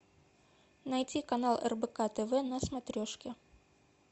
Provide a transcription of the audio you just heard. найти канал рбк тв на смотрешке